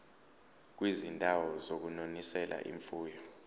kwizindawo zokunonisela imfuyo